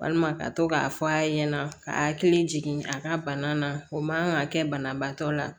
Walima ka to k'a fɔ a ɲɛna ka hakili jigin a ka bana na o man kan ka kɛ banabaatɔ la